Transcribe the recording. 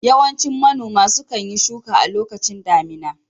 Yawancin manoma sukan yi shuka a lokacin damina